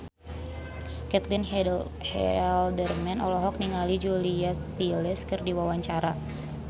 Caitlin Halderman olohok ningali Julia Stiles keur diwawancara